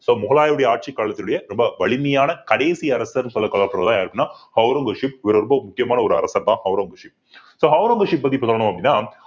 so முகலாயருடைய ஆட்சிக் காலத்தினுடைய ரொம்ப வலிமையான கடைசி அரசர்ன்னு சொல்ல ஒளரங்கசீப் இவர் ரொம்ப முக்கியமான ஒரு அரசர்தான் ஒளரங்கசீப் so ஒளரங்கசீப் பத்திசொல்லணும் அப்பிடின்னா